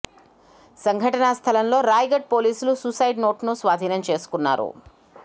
సంఘటనా స్థలంలో రాయ్ గడ్ పోలీసులు సూసైడ్ నోట్ ను స్వాధీనం చేసుకున్నారు